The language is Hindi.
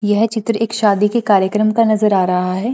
यह चित्र एक शादी के कार्यक्रम का नजर आ रहा है।